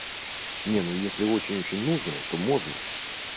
не ну если очень очень нужно то можно